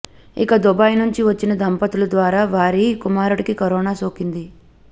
ఇక దుబాయ్ నుంచి వచ్చిన దంపతుల ద్వారా వారి కుమారుడికి కరోనా సోకింది